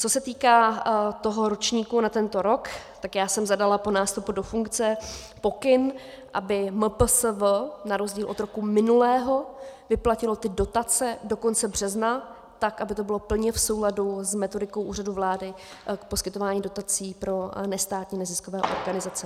Co se týká toho ročníku na tento rok, tak já jsem zadala po nástupu do funkce pokyn, aby MPSV na rozdíl od roku minulého vyplatilo ty dotace do konce března, tak aby to bylo plně v souladu s metodikou Úřadu vlády k poskytování dotací pro nestátní neziskové organizace.